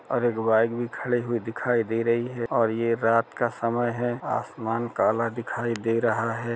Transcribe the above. और एक बाइक भी खड़ी दिखाई दे रही है और ये रात का समय है आसमान काला दिखाई दे रहा हैं।